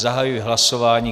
Zahajuji hlasování.